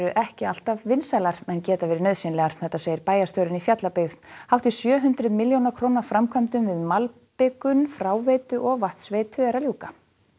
ekki alltaf vinsælar en geta verið nauðsynlegar segir bæjarstjórinn í Fjallabyggð hátt í sjö hundruð milljóna króna framkvæmdum við malbikun fráveitu og vatnsveitu er að ljúka